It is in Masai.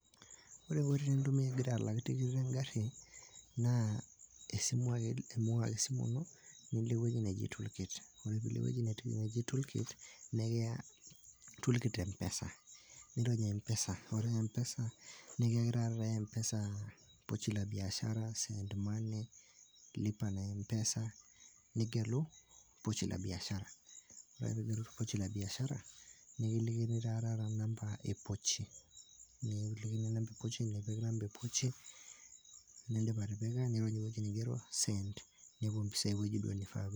Ore nkoitoi nintumia ingira alak tikit engari naa esimu ake nilo ewueji naji tool kit. Ore ake pilo ine wueji neji sim tool kit nikiya toolkit mpesa . Nirony empesa . Ore empesa nikiyaki taa empesa pochi la biashara, send money ,lipa na mpesa . Nigelu pochi la biashara. Ore ake pigelu pochi la biashara, nikilikini taa taata number e pochi . Nipik inamba e pochi ,nirony ewueji neji send nepuo mpisai ewueji duoo nifaa peepuo.